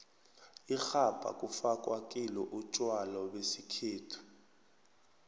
ixhabha kufakwa kilo utjwalo besikhethu